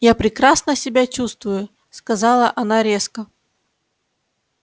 я прекрасно себя чувствую сказала она резко